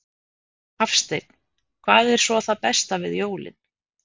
Hafsteinn: Hvað er svo það besta við jólin?